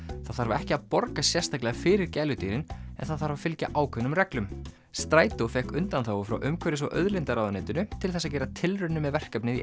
það þarf ekki að borga sérstaklega fyrir gæludýrin en það þarf að fylgja ákveðnum reglum strætó fékk undanþágu frá umhverfis og auðlindaráðuneytinu til þess að gera tilraun með verkefnið í